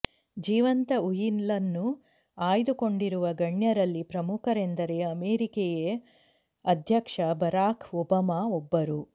ಜೀವಂತ ಉಯಿಲನ್ನು ಆಯ್ದುಕೊಂಡಿರುವ ಗಣ್ಯರಲ್ಲಿ ಪ್ರಮುಖರೆಂದರೆ ಅಮೆರಿಕೆಯ ಅಧ್ಯಕ್ಷ ಬರಾಕ್ ಒಬಾಮಾ ಒಬ್ಬರು